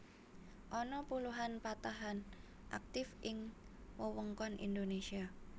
Ana puluhan patahan aktif ing wewengkon Indonésia